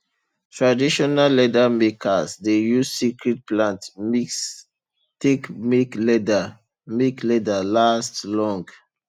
traditional leather makers dey use secret plant mix take make leather make leather last long